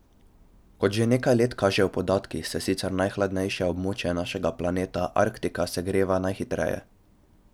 Kot že nekaj let kažejo podatki, se sicer najhladnejše območje našega planeta, Arktika, segreva najhitreje.